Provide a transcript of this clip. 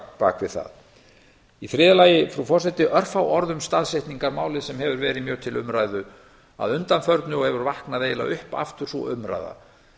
við það í þriðja lagi frú forseti örfá orð um staðsetningarmálið sem hefur verið mjög til umræðu að undanförnu og hefur vaknað eiginlega upp aftur sú umræða